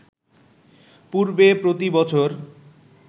পূর্বে প্রতি বছর